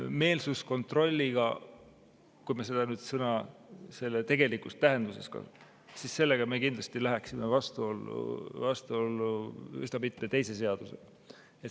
Meelsuskontrolliga – kui me seda sõna selle tegelikus tähenduses kasutame – me kindlasti läheksime vastuollu üsna mitme seadusega.